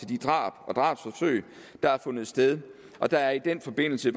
de drab og drabsforsøg der har fundet sted der er i den forbindelse